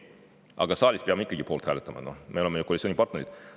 Kuigi saalis peame ikkagi poolt hääletama, me oleme ju koalitsioonipartnerid.